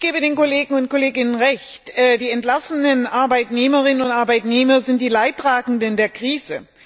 Ich gebe den Kolleginnen und Kollegen Recht Die entlassenen Arbeitnehmerinnen und Arbeitnehmer sind die Leidtragenden der Krise.